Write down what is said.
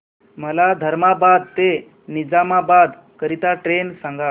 मला धर्माबाद ते निजामाबाद करीता ट्रेन सांगा